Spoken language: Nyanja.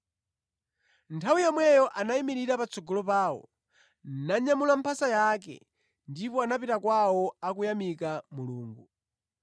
Nthawi yomweyo anayimirira patsogolo pawo, nanyamula mphasa yake ndipo anapita kwawo akuyamika Mulungu.